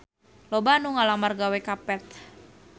Loba anu ngalamar gawe ka Path